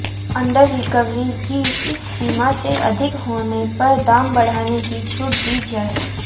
under recovery की इस सीमा से अधिक होने पर दाम बढ़ाने की छूट दी जाए